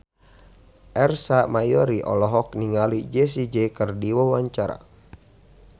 Ersa Mayori olohok ningali Jessie J keur diwawancara